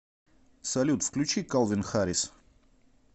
салют включи калвин харрис